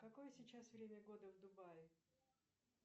какое сейчас время года в дубаи